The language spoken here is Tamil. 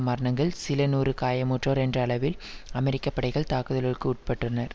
மரணங்கள் சில நூறு காயமுற்றோர் என்ற அளவில் அமெரிக்க படைகள் தாக்குதலுக்குட்பட்டுள்னர்